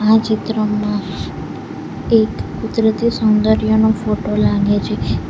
આ ચિત્રમાં એક કુદરતી સૌંદર્યનો ફોટો લાગે છે.